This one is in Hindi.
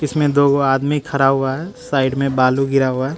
इसमें दो गो आदमी खड़ा हुआ है साइड मे बालू गिरा हुआ--